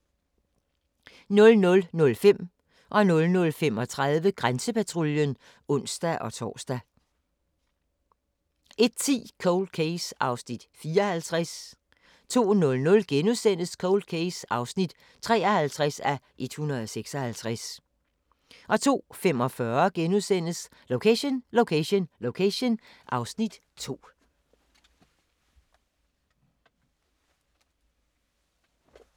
00:05: Grænsepatruljen (ons-tor) 00:35: Grænsepatruljen (ons-tor) 01:10: Cold Case (54:156) 02:00: Cold Case (53:156)* 02:45: Location Location Location (Afs. 2)*